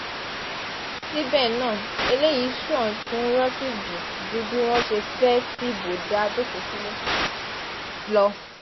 síbẹ̀ náà eléyìí ṣàn fún rọ́síjì ju bí wọ́n ṣe fẹ́ẹ́ fìbò dá a jókòó sílé lọ